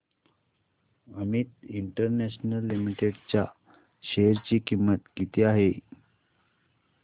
Amit international limited च्या share ची किंमत किती आहे